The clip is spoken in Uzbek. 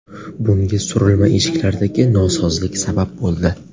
Bunga surilma eshiklardagi nosozlik sabab bo‘ldi.